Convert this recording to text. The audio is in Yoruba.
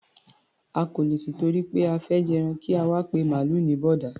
A kò lè tìtorí pé a fẹ́ jẹran kí a wá máa pe màlúù ní bọ̀ọ̀dá.